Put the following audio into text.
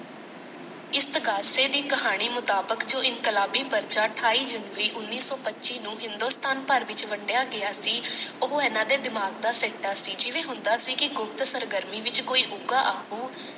ਇਸਤਗਾਸੇ ਦੀ ਕਹਾਣੀ ਮੁਤਾਬਿਕ ਜੋ ਇਨਕਲਾਬੀ ਪਰਚਾ ਅਠਾਈ ਜਨਵਰੀ ਉੱਨੀ ਸੌ ਪੱਚੀ ਨੂੰ ਹਿੰਦੁਸਤਾਨ ਭਰ ਵਿਚ ਵੰਡਿਆ ਗਿਆ ਸੀ ਓਹੋ ਇੰਨਾ ਦੇ ਦਿਮਾਗ ਦਾ ਸਿੱਟਾ ਸੀ ਜਿਵੇਂ ਹੁੰਦਾ ਸੀ ਕਿ ਗੁਪਤ ਸਰਗਰਮੀ ਵਿਚ ਕੋਈ ਉਕਾ ਆਗੂ।